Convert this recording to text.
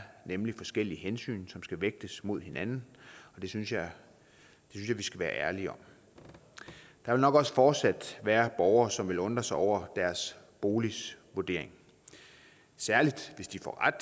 nemlig forskellige hensyn som skal vægtes mod hinanden det synes jeg vi skal være ærlige om der vil nok også fortsat være borgere som vil undre sig over deres boligs vurdering særlig hvis de får ret